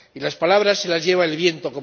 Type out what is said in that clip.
Y ¡las palabras se las lleva el viento!,